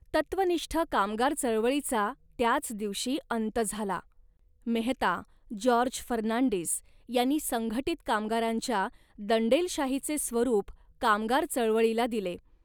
तत्त्वनिष्ठ कामगार चळवळीचा त्याच दिवशी अंत झाला. मेहता, जॉर्ज फर्नांडिस यांनी संघटित कामगारांच्या दंडेलशाहीचे स्वरूप कामगार चळवळीला दिले